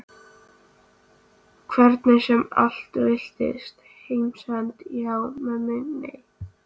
Hvernig sem allt veltist. heimsendi já, mömmu nei.